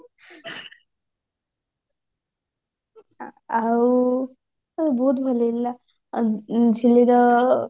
ଆଉ ବହୁତ ଭଲ ହେଇଥିଲା ଆଉ ଝିଲିର